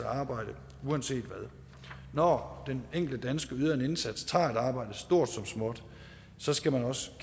arbejde uanset hvad når den enkelte dansker yder en indsats tager et arbejde stort som småt så skal man også